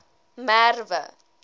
merwe